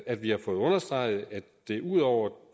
at vi har fået understreget at det ud over